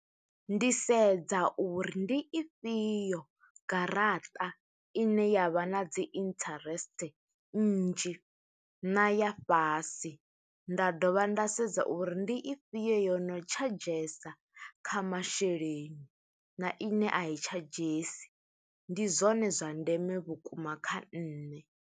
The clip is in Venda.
Ndi sedza uri ndi ifhio garaṱa ine ya vha na dzi interest nnzhi, na ya fhasi. Nda dovha nda sedza uri ndi ifhio yo no tshadzhesa kha masheleni, na ine a i tshadzhesi. Ndi zwone zwa ndeme vhukuma kha nṋe.